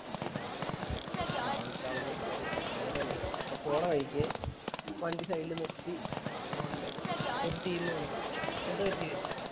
ആഹ് travel travel കഥ പറയണ്ടേ അപ്പൊ പോണ വഴിക്ക് വണ്ടി side ല് നിർത്തി അപ്പൊ ഇണ്ട് ഒരു team വന്നു എന്താ പറ്റ്യന്നു ചോയിച്ചു